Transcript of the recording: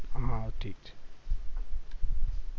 હા ઠીક છે